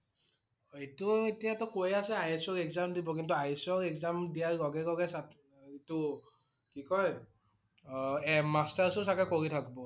অ' এই~টো এতিয়া টো কৈ আছে IS ৰ exam দিব কিন্তু IS ৰ exam দিয়াৰ লগে লগে চাক~এইটো কি কয় এ m~masters ও চাগে কৰি থাকিব